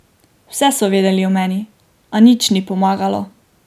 Vse so vedeli o meni, a nič ni pomagalo.